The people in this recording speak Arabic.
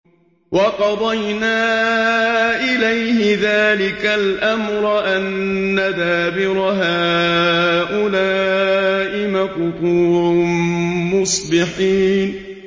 وَقَضَيْنَا إِلَيْهِ ذَٰلِكَ الْأَمْرَ أَنَّ دَابِرَ هَٰؤُلَاءِ مَقْطُوعٌ مُّصْبِحِينَ